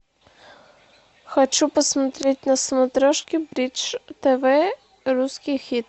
хочу посмотреть на смотрешке бридж тв русский хит